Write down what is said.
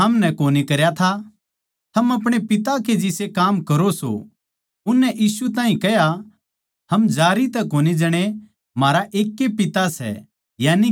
थम अपणे पिता कै जिसे काम करो सो उननै यीशु ताहीं कह्या हम जारी तै कोनी जणे म्हारा एक ए पिता सै यानिके परमेसवर